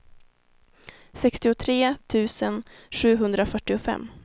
sextiotre tusen sjuhundrafyrtiofem